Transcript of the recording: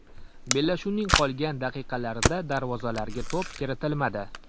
Bellashuvning qolgan daqiqalarida darvozalarga to‘p kiritilmadi.